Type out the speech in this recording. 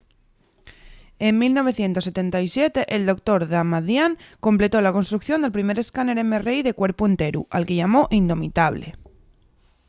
en 1977 el dr. damadian completó la construcción del primer escáner mri de cuerpu-enteru” al que llamó indomitable